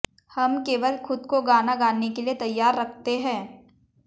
हम केवल खुद को गाना गाने के लिए तैयार रखते हैं